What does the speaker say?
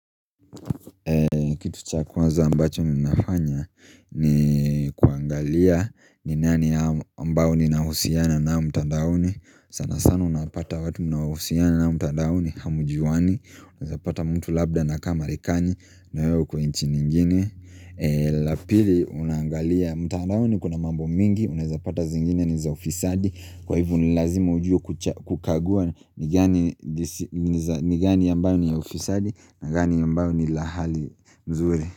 Kitu cha kwanza ambacho ninafanya ni kuangalia ni nani ambao ninahusiana nao mtadaoni. Sana sana unapata watu mnaohusiana nao mtadaoni hamjuani. Unaweza pata mtu labda anakaa Marekani na wewe uko nchi nyingine la pili unaangalia mtadaoni kuna mambo mingi. Unaweza pata zingine ni za ufisadi. Kwa hivo ni lazima ujue kukagua ni gani ambayo ni ya ufisadi, na gani ambayo ni la hali nzuri.